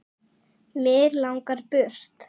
Mig langar burt.